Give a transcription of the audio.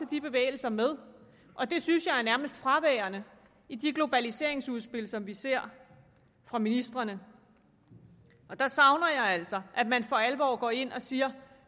de bevægelser med det synes jeg nærmest er fraværende i de globaliseringsudspil som vi ser fra ministrene her savner jeg altså at man for alvor går ind og siger